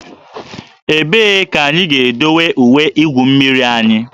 Ebee ka anyị ga-edowe uwe igwu mmiri anyị?